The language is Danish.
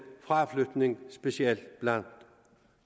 fraflytning specielt blandt